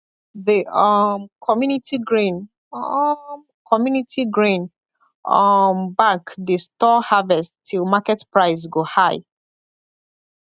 the um community grain um community grain um bank dey store harvest till market price go high